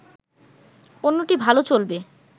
পণ্যটি ভালো চলবে